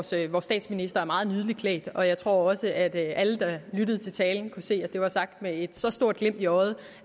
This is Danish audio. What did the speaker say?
set vores statsminister er meget nydeligt klædt og jeg tror også at alle der lyttede til talen kunne se at det var sagt med et så stort glimt i øjet